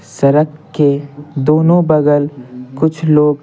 सड़क के दोनों बगल कुछ लोग --